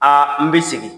Aa n bɛ segin